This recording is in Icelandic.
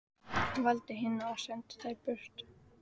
Hann valdi hina og sendi þær burt.